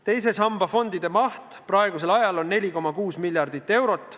Teise samba fondide maht on praegu 4,6 miljardit eurot.